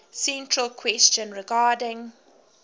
central question regarding